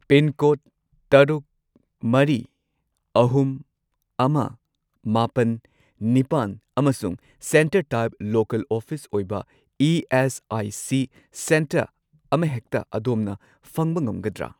Pincode ꯇꯔꯨꯛ, ꯃꯔꯤ, ꯑꯍꯨꯝ, ꯑꯃ, ꯃꯥꯄꯟ, ꯅꯤꯄꯥꯟ ꯑꯃꯁꯨꯡ ꯁꯦꯟꯇꯔ ꯇꯥꯏꯞ ꯂꯣꯀꯦꯜ ꯑꯣꯐꯤꯁ ꯑꯣꯏꯕ ꯏ.ꯑꯦꯁ.ꯑꯥꯏ.ꯁꯤ. ꯁꯦꯟꯇꯔ ꯑꯃꯍꯦꯛꯇ ꯑꯗꯣꯝꯅ ꯐꯪꯕ ꯉꯝꯒꯗ꯭ꯔꯥ?